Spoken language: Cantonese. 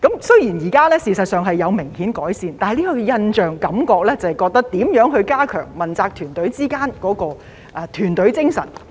雖然這情況現時事實上有明顯改善，但給我們的印象或感覺是，政府應如何加強問責團隊之間的團隊精神。